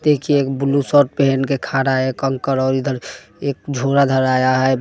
देखिए एक blue shirt पहन के खड़ा है एक अंकल और इधर एक झोला धराया है।